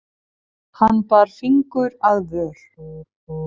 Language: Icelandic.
Hann bar fingur að vör.